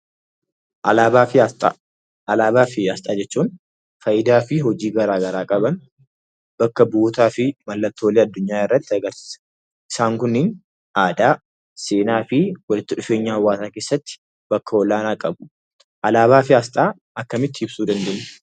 Alaabaa fi asxaa jechuun faayidaa fi hojii garaa garaa qaban, bakka bu'ootaa fi mallattoolee addunyaa agarsiisa. Isaan kun aadaa, seenaa fi walitti dhufeenya hawaasaa keessatti bakka olaanaa qabu. Alaabaa fi asxaa akkamitti ibsuu dandeenya?